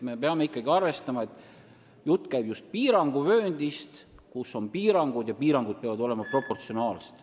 Me peame ikkagi arvestama, et jutt käib vööndist, kus on piirangud, ja need piirangud peavad olema proportsionaalsed.